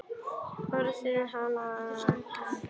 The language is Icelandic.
Orð hennar eru gegnsæ.